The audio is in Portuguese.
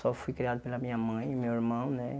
Só fui criado pela minha mãe e meu irmão, né?